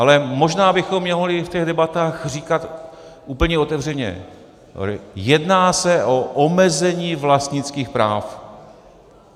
Ale možná bychom mohli v těch debatách říkat úplně otevřeně: jedná se o omezení vlastnických práv.